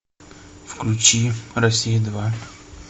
включи россия два